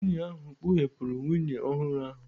Nwunye ahụ kpughepụrụ nwunye ọhụrụ ahụ.